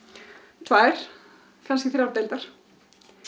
tvær kannski þrjár deildar